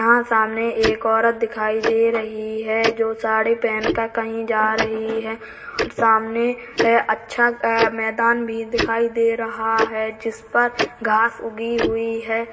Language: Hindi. यहाँ सामने एक औरत दिखाई दे रही है जो साड़ी पहन कर कहीं जा रही है। सामने अच्छा मैदान भी दिखाई दे रहा है जिस पर घास उगी हुई है।